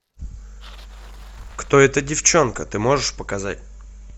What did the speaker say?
кто эта девчонка ты можешь показать